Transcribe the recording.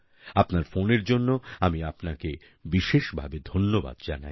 আপনার ফোনের জন্য আমি আপনাকে বিশেষভাবে ধন্যবাদ জানাই